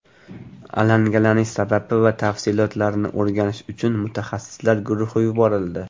Alangalanish sababi va tafsilotlarini o‘rganish uchun mutaxassislar guruhi yuborildi.